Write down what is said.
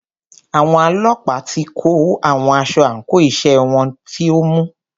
Àwọn ọlọ́pàá tí kò wọ aṣọ àńkò iṣẹ́ wọn ni o mú u.